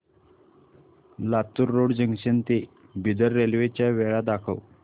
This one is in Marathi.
लातूर रोड जंक्शन ते बिदर रेल्वे च्या वेळा दाखव